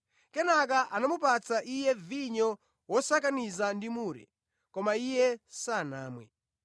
Kenaka anamupatsa Iye vinyo wosakaniza ndi mure, koma Iye sanamwe.